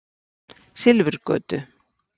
Silfurgötu